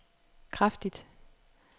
kraftigt